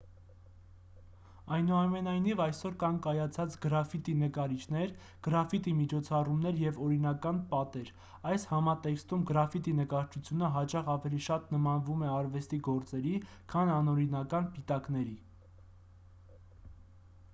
այնուամենայնիվ այսօր կան կայացած գրաֆիտի նկարիչներ գրաֆիտի միջոցառումներ և օրինական պատեր այս համատեքստում գրաֆիտի նկարչությունը հաճախ ավելի շատ նմանվում է արվեստի գործերի քան անօրինական պիտակների